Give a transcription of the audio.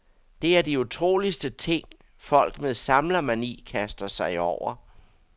Det er de utroligste ting, folk med samlermani kaster sig over.